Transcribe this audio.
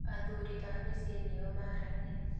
athuri a mĩcĩĩ nĩo maaragia